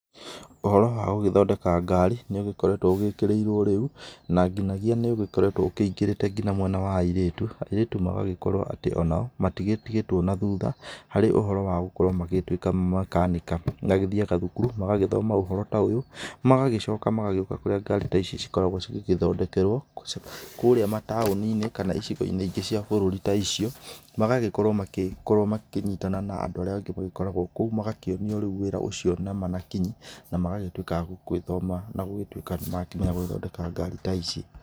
Ũhoro wa gũgĩthondeka ngari, nĩ ũgĩkoretwo ũgĩkĩrĩirwo rĩu, na nginyagia nĩ ũgĩkorewto wingĩrĩte nginya mwena wa airĩtũ, airĩtu nao magakorwo matigĩtigatwo na thutha harĩ ũhoro wa gũkorwo magĩtũika mekanika, nĩ agĩthiaga cukuru magagĩthoma ũhoro ta ũyũ magagĩcoka magagĩoka kũrĩa ngari ta ici cikoragwo igĩthondekerwo kũrĩa mataoni-inĩ kana icigo-inĩ ingĩ cia bũrũri ta icio ,magagĩkorwo makĩnyitana na andũ arĩ angĩ magĩkoragwo kũu magakĩonio wĩra ũcio na kinyi na magagĩtuĩka agũgĩthoma na gũgĩtuĩka nĩ makĩmenya gũgĩthondeka ngari ta ici.